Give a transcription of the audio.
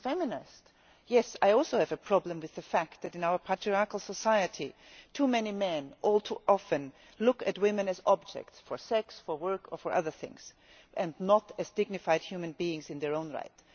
and as a feminist, I also have a problem with the fact that in our patriarchal society, too many men all too often look at women as objects for sex, work or other things and not as dignified human beings in their own right.